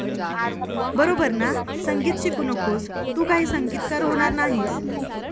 बरोबर ना? संगीत शिकू नकोस, तू काही संगीतकार होणार नाहीस.